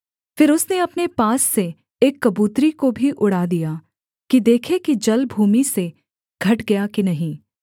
फिर उसने अपने पास से एक कबूतरी को भी उड़ा दिया कि देखे कि जल भूमि से घट गया कि नहीं